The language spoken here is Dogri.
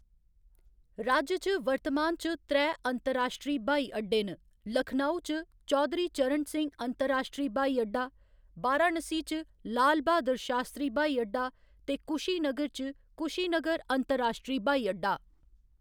राज्य च वर्तमान च त्रैऽ अंतरराश्ट्री ब्हाई अड्डे न, लखनऊ च चौधरी चरण सिंह अंतरराश्ट्री ब्हाई अड्डा, वाराणसी च लाल ब्हादर शास्तरी ब्हाई अड्डा ते कुशीनगर च कुशीनगर अंतरराश्ट्री ब्हाई अड्डा।